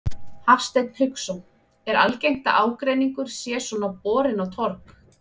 Hafsteinn Hauksson: Er algengt að ágreiningur sé svona borinn á torg?